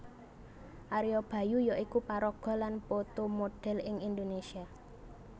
Ario Bayu yaiku paraga lan foto modhèl ing Indonésia